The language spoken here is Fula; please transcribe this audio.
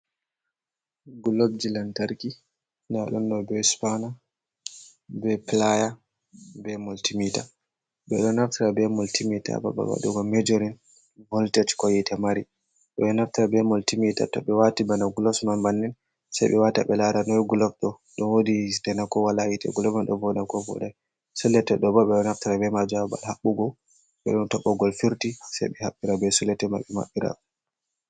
Globji lantarki nda ɗum ɗo be spana, be playa, be multimita, ɓe ɗo naftira be multimeta ha babal waɗugo mejorin voltech ko yitte mari, woɓɓe ɓe ɗo naftira be multimita to ɓe wati bana glos man bannin sei ɓe wata ɓe lara noy glob ɗo, ɗo wodi hitte na ko wala hitte, gloval ɗo voɗa na ko voɗai, sulete ɗo bo ɓe ɗo naftira be majum ha babal haɓɓugo ɓe ɗon to ɓogol firti sei ɓe haɓɓira be solate mai ɓe maɓɓira.